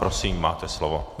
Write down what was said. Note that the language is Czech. Prosím, máte slovo.